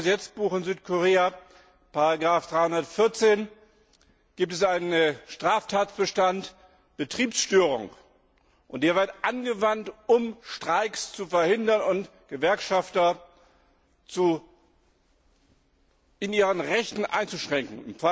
Im Strafgesetzbuch in Südkorea, Paragraph 314, gibt es einen Straftatbestand Betriebsstörung, und der wird angewandt, um Streiks zu verhindern und Gewerkschafter in ihren Rechten einzuschränken,